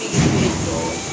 pigiri bɛ dɔw